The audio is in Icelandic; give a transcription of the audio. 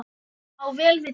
á vel við hér.